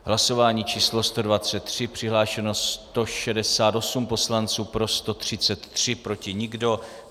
Hlasování číslo 123, přihlášeno 168 poslanců, pro 133, proti nikdo.